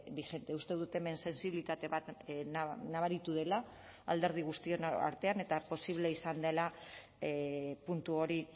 vigente uste dut hemen sentsibilitate bat nabaritu dela alderdi guztion artean eta posible izan dela puntu hori